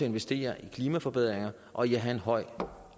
investere i klimaforbedringer og i at have en høj